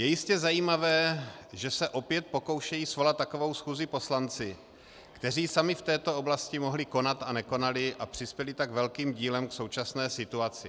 Je jistě zajímavé, že se opět pokoušejí svolat takovou schůzi poslanci, kteří sami v této oblasti mohli konat a nekonali a přispěli tak velkým dílem k současné situaci.